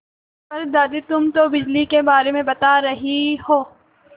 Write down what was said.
पर दादी तुम तो बिजली के बारे में बता रही हो